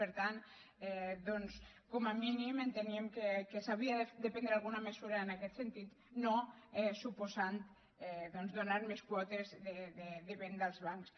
per tant doncs com a mínim enteníem que s’havia de prendre alguna mesura en aquest sentit i no suposar donar més quotes de venda als bancs